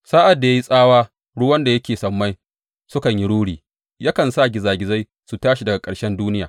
Sa’ad da ya yi tsawa ruwan da suke sammai sukan yi ruri; yakan sa gizagizai su tashi daga ƙarshen duniya.